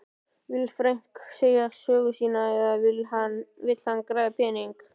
Vill Frank segja sögu sína eða vill hann græða pening?